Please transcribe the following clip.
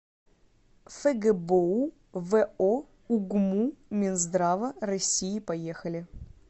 фгбоу во угму минздрава россии поехали